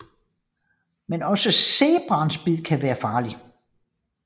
Men også zebraens bid kan være farligt